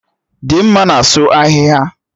Dimma na-asụ ahịhịa